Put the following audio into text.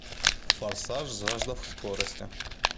форсаж жажда скорости